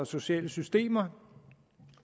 sociale systemer